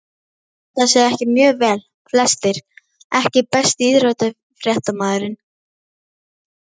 Standa sig mjög vel flestir EKKI besti íþróttafréttamaðurinn?